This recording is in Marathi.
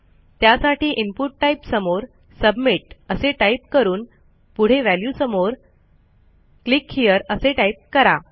त्यासाठी इनपुट टाइप समोर सबमिट असे टाईप करून पुढे व्हॅल्यू समोर क्लिक हेरे असे टाईप करा